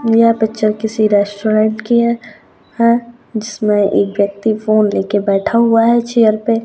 यह पिक्चर किसी रेस्टोरेंट की है जिसमें एक व्यक्ति फोन लेके बैठा हुआ है चेयर पे।